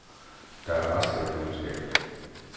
Der er rester i køleskabet.